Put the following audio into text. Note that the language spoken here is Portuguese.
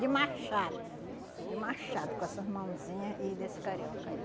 De machado, de machado com essas mãozinhas e desse carioca aí.